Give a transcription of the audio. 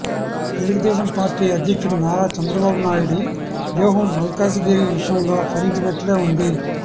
Telugu Desam party అధ్యక్షుడు నారా చంద్రబాబు నాయుడి వ్యూహం మల్కాజిగిరి విషయంలో ఫలించినట్లే ఉంది